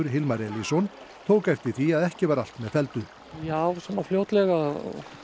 Hilmar Elísson tók eftir því að ekki var allt með felldu já svona fljótlega